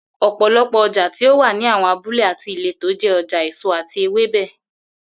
Ò̩pò̩lo̩pò̩ o̩jà tí ó wà ní àwo̩n abúlé àti ìletò jé̩ o̩jà èso àti ewébè